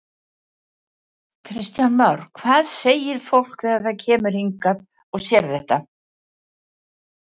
Kristján Már: Hvað segir fólk þegar það kemur hingað og sér þetta?